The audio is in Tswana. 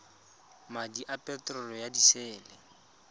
madi a peterolo ya disele